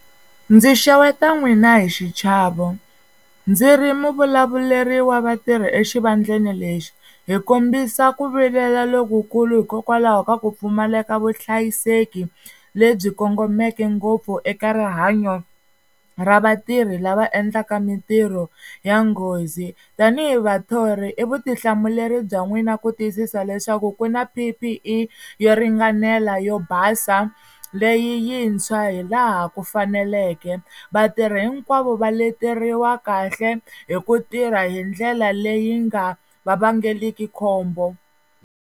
Ndzi xeweta n'wina hi xichavo ndzi ri muvulavuleri wa vatirha exivandleni lexi, hi kombisa ku vilela lokukulu hikokwalaho ka ku pfumaleka vuhlayiseki lebyi kongomeke ngopfu eka rihanyo ra vatirhi lava endlaka mintirho ya nghozi. Tanihi vathori i vutihlamuleri bya n'wina ku tiyisisa leswaku ku na P_P_E yo ringanela yo basa leyi yintshwa hi laha ku faneleke. Vatirhi hinkwavo va leteriwa kahle hi ku tirha hi ndlela leyi nga va vangeriki khombo.